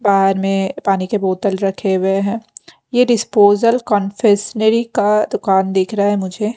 बाहर में पानी के बोतल रखे हुए हैं ये डिस्पोजल कन्फेशनरी का दुकान दिख रहा है मुझे --